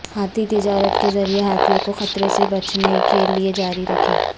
ہاتھی تجارت کے ذریعے ہاتھیوں کو خطرے سے بچنے کے لئے جاری رکھیں